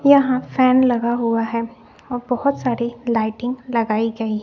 यहां फैन लगा हुआ है और बहुत सारी लाइटिंग लगाई गई--